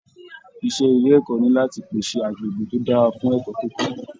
Iṣẹ ilé ẹ̀kọ́ ní láti pèsè agbègbè to dára fún ẹ̀kọ́ kíkọ.